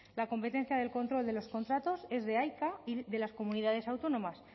la competencia del control de los contratos es de aica y de las comunidades autónomas